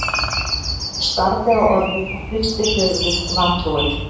Hún starði á orðið og hristi höfuðið vantrúuð